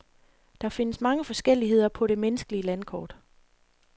Der findes mange forskelligheder på det menneskelige landkort.